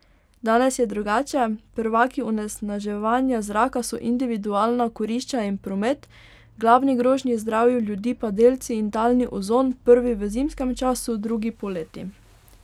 Danes je drugače, prvaki onesnaževanja zraka so individualna kurišča in promet, glavni grožnji zdravju ljudi pa delci in talni ozon, prvi v zimskem času, drugi poleti.